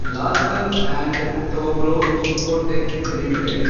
Larsen and Toubro Infotech limited